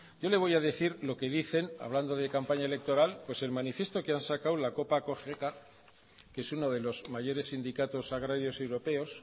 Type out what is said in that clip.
yo le voy a decir lo que dicen hablando de campaña electoral pues el manifiesto que ha sacado la copa cogeca que es uno de los mayores sindicatos agrarios europeos